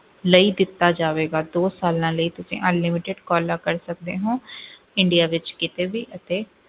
ਲਈ ਦਿੱਤਾ ਜਾਵੇਗਾ ਦੋ ਸਾਲਾਂ ਲਈ ਤੁਸੀਂ unlimited calls ਕਰ ਸਕਦੇ ਹੋ ਇੰਡੀਆ ਵਿੱਚ ਕਿਤੇ ਵੀ ਅਤੇ